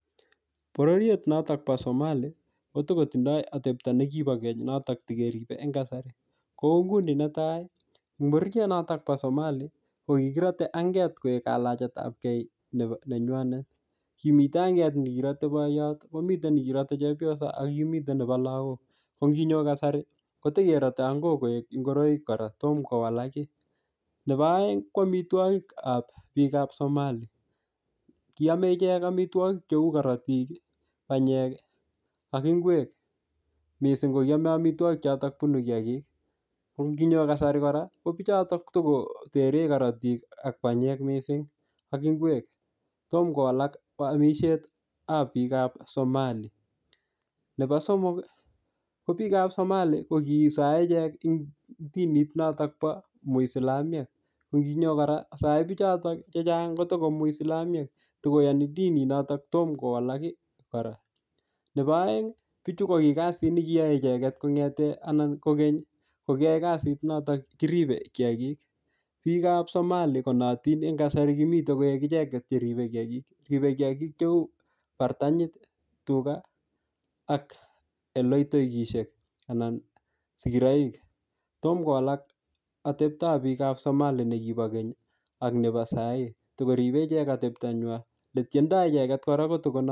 Bororiet notok bo Somali, ko tikotindoi atepto ne kibo keny notok tikeribe eng kasari. Kou nguni netai, ngoriet notok bo Somali, ko kikirate anget koek kalajetapkey nebo nenywanet. Kimite anget ni kirate boiyot, komite nekirate chepyoso, ak kimite nebo lagok. Ko nginyo kasari, kotikerate angok koek ngoroik kora, tomkowalak kiy. Nebo aeng, ko amitwogikap biik ap Somali. Kiame ichek amitwogik cheu korotik, panyek, ak ngwek. Missing ko kiame amitwogik chotok bunu kiyagik. Ko ngiyo kasari kora, ko bichotok tikotere korotik ak panyek missing ak ngwek. Tomkowalak amisiet ab biik ap Somali. Nebo somok, ko biikap Somali, ko kisae ichek ing dinit notok bo Muisilamiek. Ko nginyo kora, sae bichotok chechang kotiko Muisilamiek. Tikoyani dinit notok, tomkowalak kora. Nebo aeng, bichu ko ki kasit ne kiyae icheket kongete anan ko keny, ko kiyae kasit notok kiribe kiyagik. Biikap Somali konaatin en kasari kimite koek icheket cheribe kiyagik. Ribe kiyagik cheu bartanyit, tuga ak eloitoigisiek anan sigiroik. Tomkowalak ateptop biikap Somali nekibo keny ak nebo sahii. Tikoribe icheket atepto nywa. Ole tiendoi icheket kora kotiko